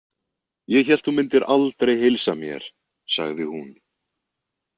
Ég hélt að þú mundir aldrei heilsa mér, sagði hún.